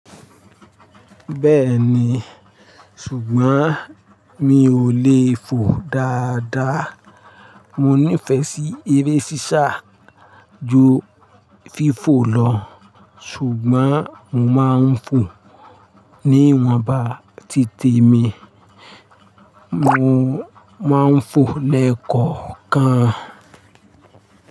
Bẹ́ẹ̀ni, ṣùgbọ́n mi ò lè fò dáadáa. Mo nífẹ̀ẹ́ sí eré sísá ju fífò lọ ṣùgbọ́n mo máa ń fò ní ìwọ̀nba títe mi, mo máa ń fò lẹ́kọ̀ọ̀kan.